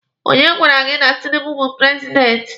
Onye gwara gị na Tinibu bu prezidenti?